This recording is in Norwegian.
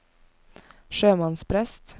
sjømannsprest